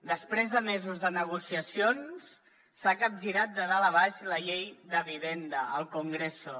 després de mesos de negociacions s’ha capgirat de dalt a baix la llei de vivenda al congreso